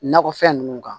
Nakɔfɛn ninnu kan